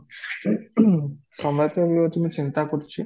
ସମୟ କେତେ ଅଛି ମୁଁ ଚିନ୍ତା କରୁଛି